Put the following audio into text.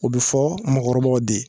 O bɛ fɔ mɔgɔkɔrɔbaw de